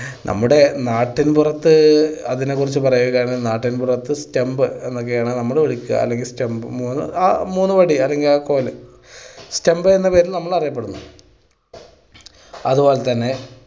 നമ്മുടെ നാട്ടിൻ പുറത്ത് അതിനെ കുറിച്ച് പറയുകയാണെങ്കിൽ നാട്ടിൻ പുറത്ത് stump എന്നൊക്കെയാണ് നമ്മൾ വിളിക്കുക അല്ലെങ്കിൽ stump മൂന്ന് ആ മൂന്ന് വടി അല്ലെങ്കിൽ ആ കോല് stump എന്ന പേരിൽ നമ്മൾ അറിയപ്പെടുന്നു. അത് പോലെ തന്നെ